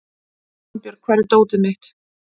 Svanbjörg, hvar er dótið mitt?